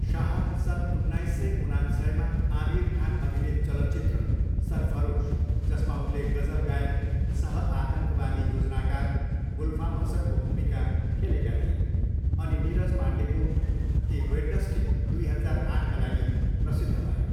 शाह सन् उन्नाइस सय उनान्सयमा आमिर खान अभिनीत चलचित्र सरफरोस, जसमा उनले गजल गायक सहआतङ्कवादी योजनाकार गुलफाम हसनको भूमिका खेलेका थिए अनि नीरज पाण्डेको ए वेडनस्डे, दुई हजार आठका लागि प्रसिद्ध भए।